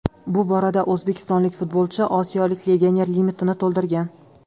Bu borada o‘zbekistonlik futbolchi osiyolik legioner limitini to‘ldirgan.